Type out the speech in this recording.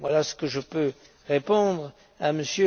Voilà ce que je peux répondre